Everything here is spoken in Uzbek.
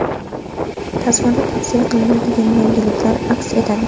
Tasmada tavsiya qilinadigan yangiliklar aks etadi.